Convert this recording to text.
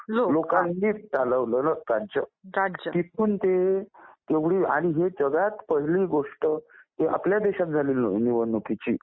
लोकांनी चालवलेलं राज्य आणि ही जगात पहिली गोष्ट आपल्या देशात झालेली आहे निवडणुकीची